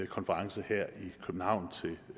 konference